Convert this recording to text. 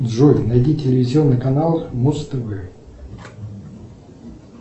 джой найди телевизионный канал муз тв